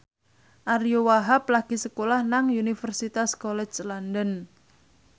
Ariyo Wahab lagi sekolah nang Universitas College London